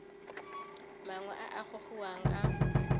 mangwe a a gogiwang a